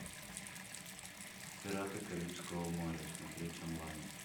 пираты карибского моря смотреть онлайн